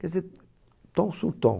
Quer dizer, ton sur ton.